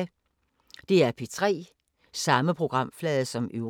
DR P3